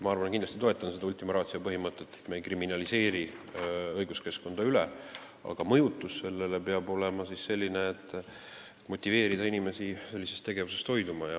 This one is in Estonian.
Ma kindlasti toetan seda ultima ratio põhimõtet, et me ei kriminaliseeriks õiguskeskkonda üle, aga mõjutus peab olema selline, mis motiveerib inimesi sellisest tegevusest hoiduma.